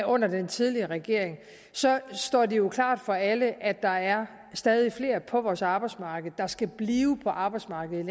under den tidligere regering står det jo klart for alle at der er stadig flere på vores arbejdsmarked der skal blive på arbejdsmarkedet